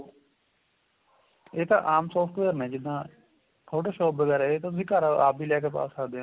ਏਹ ਤਾਂ ਆਂਮ software ਨੇ ਜਿੱਦਾ ਛੋਟੇ shop ਵਗੇਰਾ ਏਹ ਤਾਂ ਤੁਸੀਂ ਘਰ ਆਪ ਵੀ ਲੈਕੇ ਪਾਂ ਸਕਦੇ ਹੋ